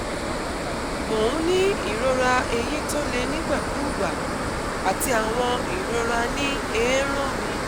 Mo ń ní ìrora eyín tó le nígbàkúùgbà àti àwọn ìrora ní eérún mi